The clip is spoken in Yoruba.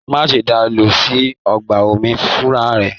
Má ṣe da lọ sí ọgbà omi fúnra rẹ!